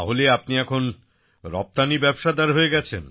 তাহলে আপনি এখন রপ্তানি ব্যবসাদার হয়ে গেছেন